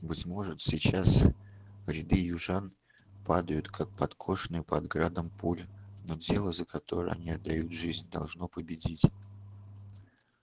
быть может сейчас ряды южан падают как подкошенные под градом пуль но дело за которое они отдают жизнь должно победить